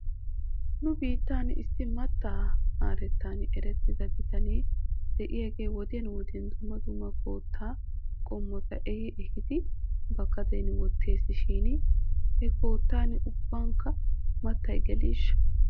Nu biittan issi mattaa haarettan erettida bitanee de'iyaagee wodiyan wodiyan dumma dumma koottaa qommota ehi ehidi ba gaden wottes shin he koottan ubbankka mattay gellishsha?